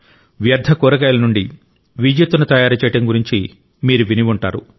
వ్యర్థ కూరగాయల నుండి విద్యుత్తును తయారు చేయడం గురించి మీరు ఎప్పుడైనా విని ఉంటారు